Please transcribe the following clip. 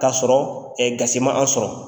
Ka sɔrɔ gasi man an sɔrɔ.